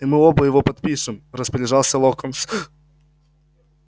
и мы оба его подпишем распоряжался локонс